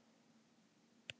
Reykjavíkur innan tíðar.